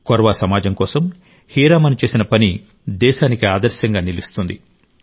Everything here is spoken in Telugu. కొర్వా సమాజం కోసం హెరామన్ చేసిన పని దేశానికి ఆదర్శంగా నిలుస్తుంది